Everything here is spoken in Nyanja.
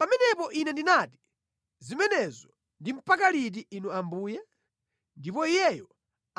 Pamenepo ine ndinati, “Zimenezo ndi mpaka liti Inu Ambuye?” Ndipo Iyeyo